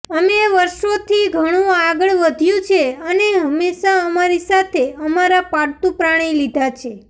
અમે વર્ષોથી ઘણું આગળ વધ્યું છે અને હંમેશાં અમારી સાથે અમારા પાળતુ પ્રાણી લીધાં છે